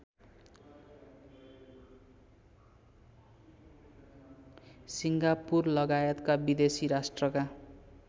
सिङ्गापुरलगायतका विदेशी राष्ट्रका